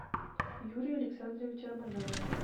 юрия александровича рамазанова